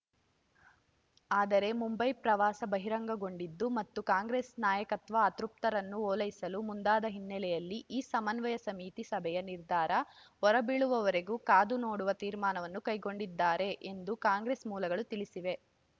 ಆದರೆ ಮುಂಬೈ ಪ್ರವಾಸ ಬಹಿರಂಗಗೊಂಡಿದ್ದು ಮತ್ತು ಕಾಂಗ್ರೆಸ್‌ ನಾಯಕತ್ವ ಅತೃಪ್ತರನ್ನು ಒಲೈಸಲು ಮುಂದಾದ ಹಿನ್ನಲೆಯಲ್ಲಿ ಈ ಸಮನ್ವಯ ಸಮಿತಿ ಸಭೆಯ ನಿರ್ಧಾರ ಹೊರಬೀಳುವವರೆಗೆ ಕಾದು ನೋಡುವ ತೀರ್ಮಾನವನ್ನು ಕೈಗೊಂಡಿದ್ದಾರೆ ಎಂದು ಕಾಂಗ್ರೆಸ್‌ ಮೂಲಗಳು ತಿಳಿಸಿವೆ